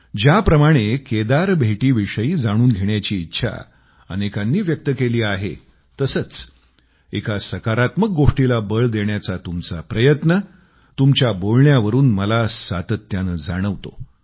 ज्याप्रमाणे केदार भेटीविषयी जाणून घेण्याची इच्छा अनेकांनी व्यक्त केली आहे तसंच एका सकारात्मक गोष्टीला बळ देण्याचा तुमचा प्रयत्न तुमच्या बोलण्यावरून मला सातत्यानं जाणवतो